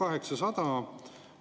Ja milleks me neid debatte peame?